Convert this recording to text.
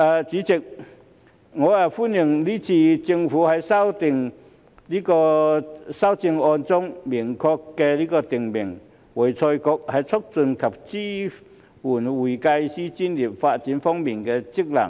主席，我歡迎這次政府在修正案中明確訂明會財局在促進及支援會計師專業發展方面的職能。